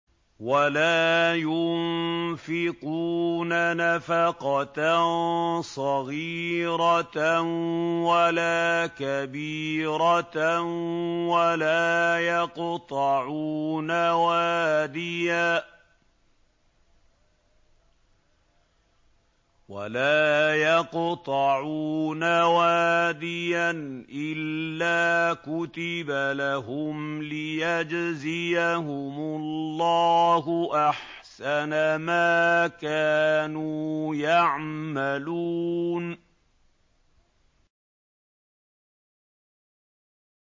وَلَا يُنفِقُونَ نَفَقَةً صَغِيرَةً وَلَا كَبِيرَةً وَلَا يَقْطَعُونَ وَادِيًا إِلَّا كُتِبَ لَهُمْ لِيَجْزِيَهُمُ اللَّهُ أَحْسَنَ مَا كَانُوا يَعْمَلُونَ